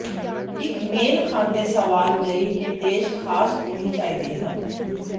ਇਕ ਮੇਲ ਖਾਂਦੇ ਸਵਾਲ ਲਈ ਨਿਰਦੇਸ਼ ਖਾਸ ਹੋਣੇ ਚਾਹੀਦੇ ਹਨ